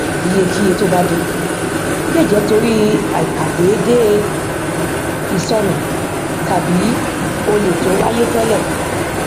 iyekiye tó bá din le jẹ tori aikadeede isonu tàbí olè to wáyé télè